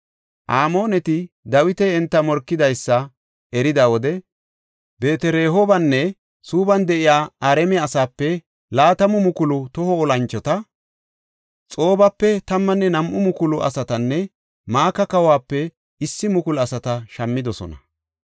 Amooneti Dawiti enta morkidaysa erida wode Beet-Rehoobanne Suubban de7iya Araame asaape laatamu mukulu toho olanchota, Xoobape tammanne nam7u mukulu asatanne Maka kawuwape issi mukulu asata shammidosona.